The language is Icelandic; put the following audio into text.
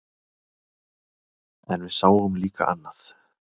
En við sáum líka annað.